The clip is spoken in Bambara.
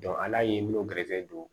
ala ye minnu gɛrɛsɛgɛ don